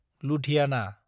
Ludhiana